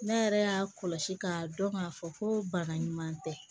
Ne yɛrɛ y'a kɔlɔsi k'a dɔn k'a fɔ ko bana ɲuman tɛ